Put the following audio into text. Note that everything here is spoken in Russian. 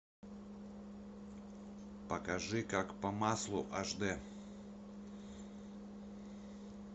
покажи как по маслу аш де